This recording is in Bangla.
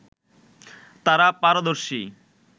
তারা পারদর্শী